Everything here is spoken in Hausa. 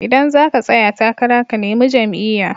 Idan zaka tsaya takara ka nemi jam'iya